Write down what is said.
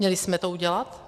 Měli jsme to udělat?